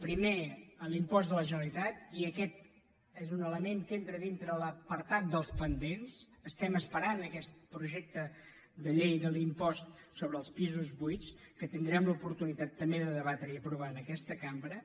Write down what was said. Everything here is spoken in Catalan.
primer en l’impost de la generalitat i aquest és un element que entra dintre l’apartat dels pendents estem esperant aquest projecte de llei de l’impost sobre els pisos buits que tindrem l’oportunitat també de debatre i aprovar en aquesta cambra